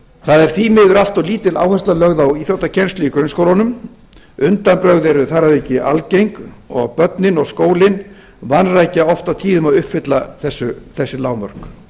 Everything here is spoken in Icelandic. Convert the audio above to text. það er því miður allt of lítil áhersla lögð á íþróttakennslu í grunnskólunum undanbrögð eru þar að auki algeng og börnin og skólinn vanrækja oft og tíðum að uppfylla þessi lágmörk